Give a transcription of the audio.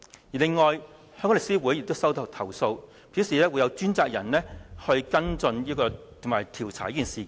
此外，香港律師公會也接獲投訴，公會表示會有專責人員跟進和調查這事件。